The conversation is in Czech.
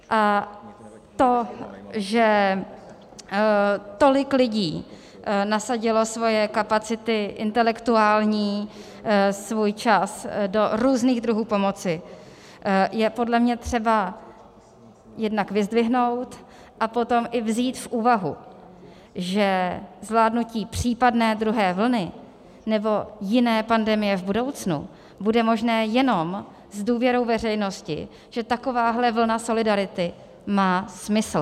A to, že tolik lidí nasadilo svoje kapacity intelektuální, svůj čas do různých druhů pomoci, je podle mě třeba jednak vyzdvihnout, a potom i vzít v úvahu, že zvládnutí případné druhé vlny nebo jiné pandemie v budoucnu bude možné jenom s důvěrou veřejnosti, že takováhle vlna solidarity má smysl.